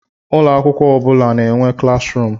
Ụlọ akwụkwọ ọ bụ na-enwe klas ruum.